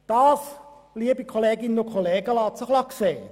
Das lässt sich sehen.